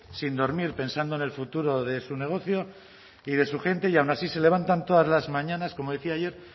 sin dormir pensando en el futuro de su negocio y de su gente y aun así se levantan todas las mañanas como decía ayer